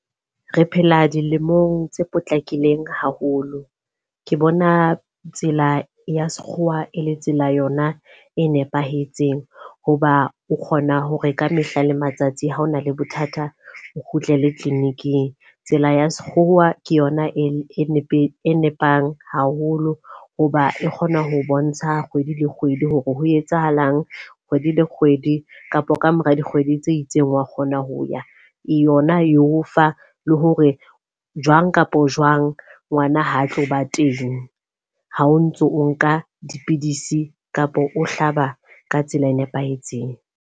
Re phela dilemong tse potlakileng haholo. Ke bona tsela ya sekgowa e le tsela yona e nepahetseng. Hoba o kgona hore ka mehla le matsatsi ha ona le bothata o kgutlele clinic-ing. Tsela ya sekgowa ke yona e ne e nepang haholo hoba e kgona ho bontsha kgwedi le kgwedi hore ho etsahalang kgwedi le kgwedi. Kapa kamora dikgwedi tse itseng wa kgona ho ya yona. E o fa le hore jwang kapa jwang ngwana ha a tlo ba teng ha o ntso o nka dipidisi kapo o hlaba ka tsela e nepahetseng.